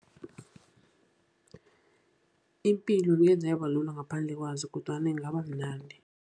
Ipilo ngeze yaba lula ngaphandle kwazo, kodwana ingaba mnandi.